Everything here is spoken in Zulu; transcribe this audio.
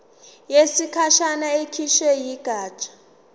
yesikhashana ekhishwe yigatsha